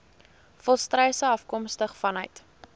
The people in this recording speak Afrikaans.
volstruise afkomstig vanuit